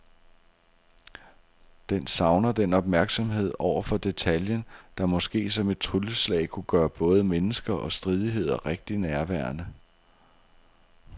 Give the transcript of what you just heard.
Den savner den opmærksomhed over for detaljen, der måske som et trylleslag kunne gøre både mennesker og stridigheder rigtig nærværende.